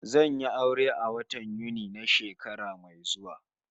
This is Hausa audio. Zan yi aure a watan Yuni na shekara mai zuwa